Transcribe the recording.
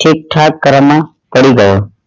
છે કે પડી જાઈ